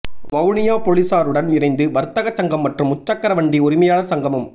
வவுனியா பொலிஸாருடன் இணைந்து வர்த்தக சங்கம் மற்றும் முச்சக்கரவண்டி உரிமையாளர் சங்கமும்